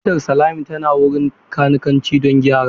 Motar Salami tana wurin kanikanci don gyara.